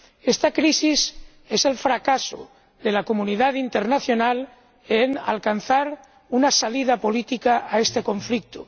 Esta crisis es el fracaso de la comunidad internacional en alcanzar una salida política a este conflicto